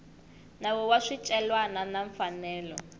nawu wa swicelwa na mfanelo